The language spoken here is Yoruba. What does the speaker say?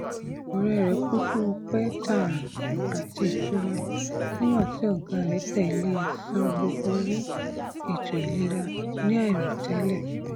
ọrọ rẹ kún fún ọpẹ tààrà àti ìtura nígbà tí ọgá rẹ tẹlẹ san gbogbo owó ètò ìlera ní àìròtẹlẹ